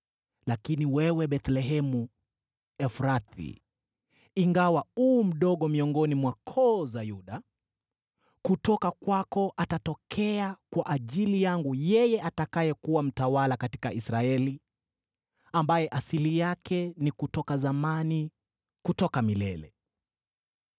“Lakini wewe, Bethlehemu Efrathi, ingawa u mdogo miongoni mwa koo za Yuda, kutoka kwako atatokea kwa ajili yangu yeye atakayekuwa mtawala katika Israeli, ambaye asili yake ni kutoka zamani, kutoka milele.”